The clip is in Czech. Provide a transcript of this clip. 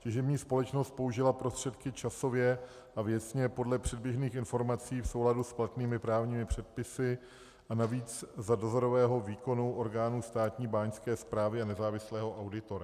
Těžební společnost použila prostředky časově a věcně podle předběžných informací v souladu s platnými právními předpisy a navíc za dozorového výkonu orgánů Státní báňské správy a nezávislého auditora.